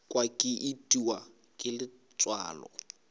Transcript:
kwa ke itiwa ke letswalo